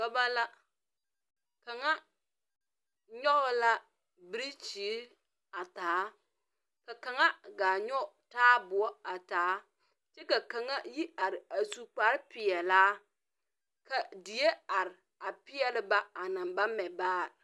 Dɔba la kanga nyuge la birikyiri a taa ka kanga gaa nyuge taabuo a taa kye ka kanga yi arẽ a su kpare peɛlaa ka deɛ arẽ a peɛli ba a nang ba mɛ baare.